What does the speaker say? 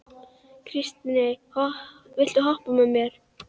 Kristine, viltu hoppa með mér?